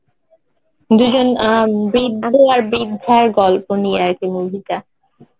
দুজন অ্যাঁ বৃদ্ধ আর বৃদ্ধার গল্প নিয়ে আরকি movie টা